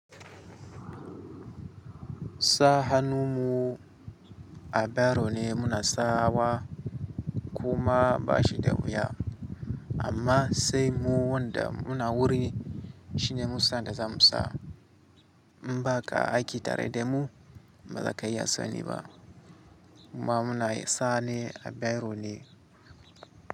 Sa hannu mu a ɓero ne muna sawa kuma ba shi da wuya, amma sai mu wanda muna wuri shine mu sa da za mu sa. Mbaka aiƙi tare da mu, ba za ka iya sani ba. Ma muna sa ne a ɓero ne.